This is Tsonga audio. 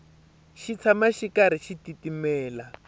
xi tshama xi karhi xi titimela